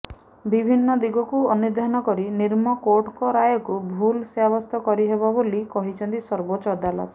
ବିଭିନ୍ନ ଦିଗକୁ ଅନୁଧ୍ୟାନ କରି ନିମ୍ନ କୋର୍ଟଙ୍କ ରାୟକୁ ଭୁଲ୍ ସାବ୍ୟସ୍ତ କରିହେବ ବୋଲି କହିଛନ୍ତି ସବୋର୍ଚ୍ଚ ଅଦାଲତ